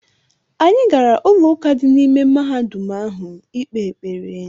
Anyị gara ụlọụka dị n’ime mahadum ahụ ikpe ekpere.